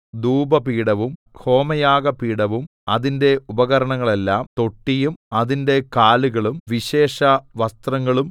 ധൂപപീഠവും ഹോമയാഗപീഠവും അതിന്റെ ഉപകരണങ്ങളെല്ലം തൊട്ടിയും അതിന്റെ കാലുകളും വിശേഷവസ്ത്രങ്ങളും